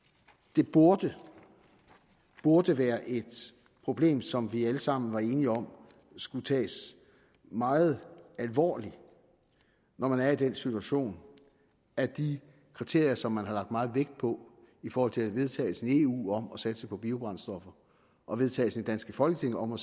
det burde burde være et problem som vi alle sammen var enige om skulle tages meget alvorligt når man er i den situation at de kriterier som man har lagt meget vægt på i forhold til vedtagelsen i eu om at satse på biobrændstoffer og vedtagelse i det danske folketing om